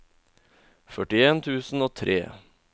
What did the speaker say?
førtien tusen og tre